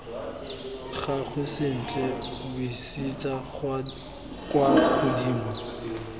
gagwe sentle buisetsa kwa godimo